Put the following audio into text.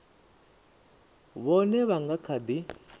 vhone vha nga kha ḓi